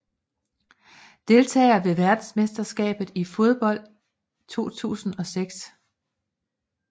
Deltagere ved verdensmesterskabet i fodbold 2006